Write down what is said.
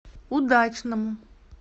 удачному